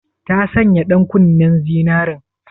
Ta sanya ɗankunnen zinaren?